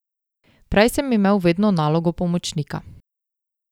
Prej sem imel vedno nalogo pomočnika.